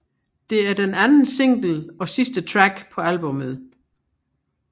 Det er den anden single og sidste track på albummet